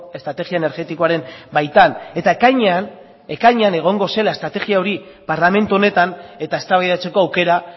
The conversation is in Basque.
estrategia energetikoaren baitan eta ekainean ekainean egongo zela estrategia hori parlamentu honetan eta eztabaidatzeko aukera